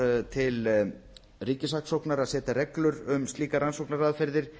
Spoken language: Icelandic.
til ríkissaksóknara að setja reglur um slíkar rannsóknaraðferðir